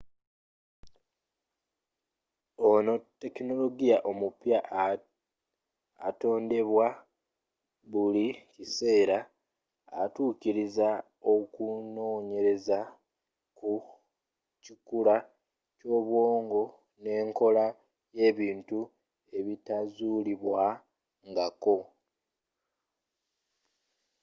ono tekinologiya omupya atondebwawo buli kiseera atuukiriza okunoonyereza ku kikula ky'obwongo n'enkola y'ebintu ebitazulibwa nga ko